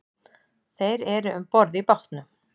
Þrír eru um borð í bátnum